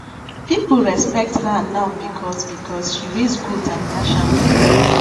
people respect her now because because she raise goat and dash am free